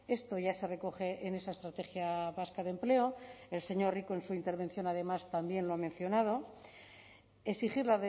esto ya se recoge en esa estrategia vasca de empleo el señor rico en su intervención además también lo ha mencionado exigir